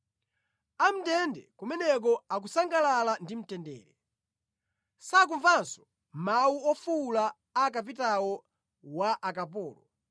A mʼndende kumeneko akusangalala ndi mtendere; sakumvanso mawu ofuwula a kapitawo wa akapolo.